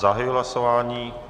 Zahajuji hlasování.